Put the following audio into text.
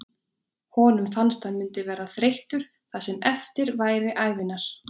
Honum fannst hann mundi verða þreyttur það sem eftir væri ævinnar.